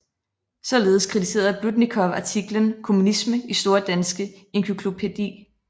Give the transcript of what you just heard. Således kritiserede Blüdnikow artiklen kommunisme i Store Danske Encyklopædi